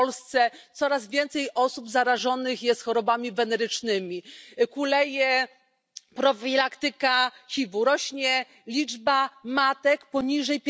W Polsce coraz więcej osób zarażonych jest chorobami wenerycznymi, kuleje profilaktyka HIV u, rośnie liczba matek poniżej